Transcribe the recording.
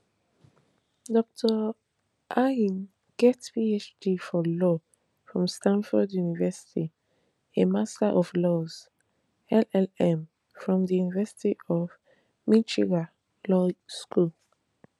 dr ayine get a phd for law from stanford university a master of laws llm from di university of michigan law school